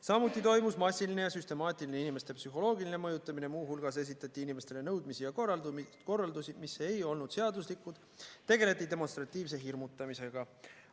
Samuti toimus massiline ja süstemaatiline inimeste psühholoogiline mõjutamine, muu hulgas esitati inimestele nõudmisi ja korraldusi, mis ei olnud seaduslikud, tegeleti demonstratiivse hirmutamisega.